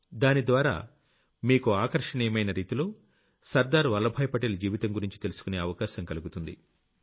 దానిద్వారా మీకు ఆకర్షణీయమైన రీతిలో సర్దార్ వల్లభాయ్ పటేల్ జీవితం గురించి తెలుసుకునే అవకాశం కలుగుతుంది